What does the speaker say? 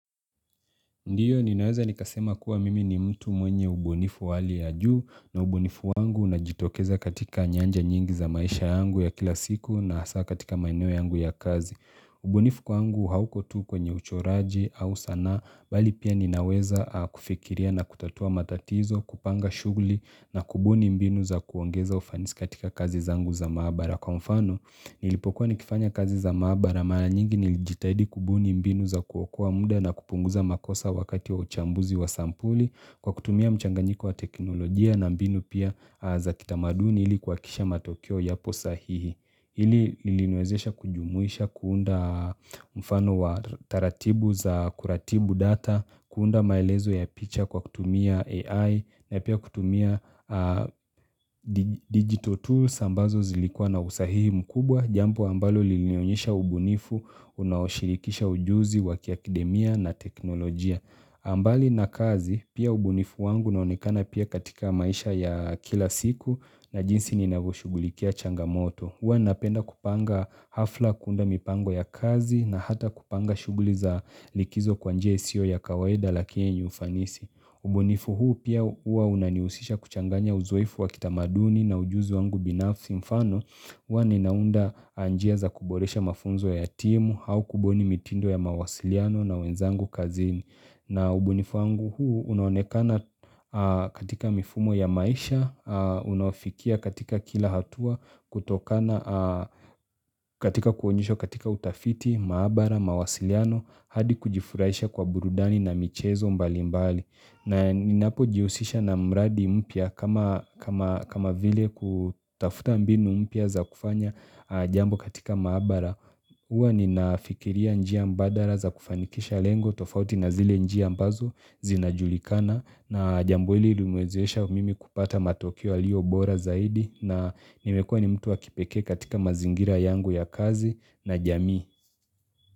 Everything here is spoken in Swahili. Ndiyo ninaweza nikasema kuwa mimi ni mtu mwenye ubunifu wa hali ya juu na ubunifu wangu unajitokeza katika nyanja nyingi za maisha yangu ya kila siku na hasa katika maeneo yangu ya kazi. Ubunifu kwangu hauko tu kwenye uchoraji au sanaa bali pia ninaweza kufikiria na kutatua matatizo, kupanga shughuli na kubuni mbinu za kuongeza ufanisi katika kazi zangu za maabara. Kwa mfano, nilipokuwa nikifanya kazi za maabara mara nyingi nilijitahidi kubuni mbinu za kuokoa muda na kupunguza makosa wakati wa uchambuzi wa sampuli kwa kutumia mchanganyiko wa teknolojia na mbinu pia za kitamaduni ili kuhakikisha matokeo yapo sahihi. Hili liliniwezesha kujumuisha kuunda mfano wa taratibu za kuratibu data, kuunda maelezo ya picha kwa kutumia AI na pia kutumia digital tools ambazo zilikuwa na usahihi mkubwa, jambo ambalo lilinionyesha ubunifu, unaoshirikisha ujuzi wakiakademia na teknolojia. Mbali na kazi, pia ubunifu wangu na unaonekana pia katika maisha ya kila siku na jinsi ninavoshugulikia changamoto. Huwa napenda kupanga hafla kuunda mipango ya kazi na hata kupanga shuguli za likizo kwa njia isiyo ya kawaida lakini ni ufanisi. Ubunifu huu pia huwa unanihusisha kuchanganya uzoefu wa kitamaduni na ujuzi wangu binafsi mfano. Huwa ninaunda njia za kuboresha mafunzo ya timu au kubuni mitindo ya mawasiliano na wenzangu kazini. Na ubunifu wangu huu unonekana katika mifumo ya maisha, unaofikia katika kila hatua, katika kuonyesha katika utafiti, maabara, mawasiliano, hadi kujifurahisha kwa burudani na michezo mbali mbali. Na ninapo jihusisha na mradi mpya kama vile kutafuta mbinu mpya za kufanya jambo katika maabara Huwa ninafikiria njia mbadala za kufanikisha lengo tofauti na zile njia ambazo zinajulikana na jambo ili limeniwezesha mimi kupata matokeo yaliyo bora zaidi na nimekuwa ni mtu wa kipekee katika mazingira yangu ya kazi na jamii.